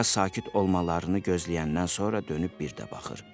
Bir az sakit olmalarını gözləyəndən sonra dönüb bir də baxır.